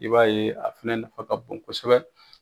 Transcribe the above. I b'a ye a fɛnɛ nafa ka bon kosɛbɛ.